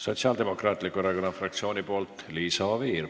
Sotsiaaldemokraatliku Erakonna fraktsiooni nimel Liisa Oviir.